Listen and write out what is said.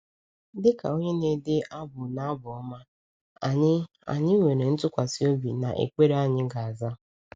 Dịka onye na-ede abụ n’Abụ Ọma, anyị anyị nwere ntụkwasị obi na ekpere anyị ga-aza.